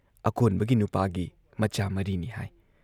ꯑꯀꯣꯟꯕꯒꯤ ꯅꯨꯄꯥꯒꯤ ꯃꯆꯥ ꯃꯔꯤꯅꯤ ꯍꯥꯏ